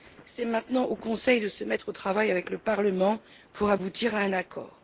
C'est maintenant au Conseil de se mettre au travail avec le Parlement pour aboutir à un accord.